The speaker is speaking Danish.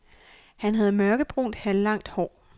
Han havde mørkebrunt halvlangt hår.